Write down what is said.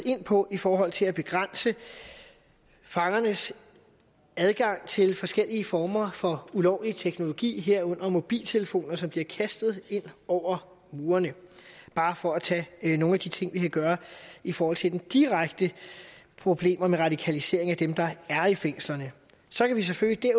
ind på i forhold til at begrænse fangernes adgang til forskellige former for ulovlig teknologi herunder mobiltelefoner som bliver kastet ind over murene bare for at tage nogle af de ting vi kan gøre i forhold til de direkte problemer med radikalisering af dem der er i fængslerne så kan vi selvfølgelig